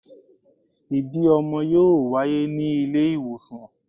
Ibi ọmọ yoo waye ni ile iwosan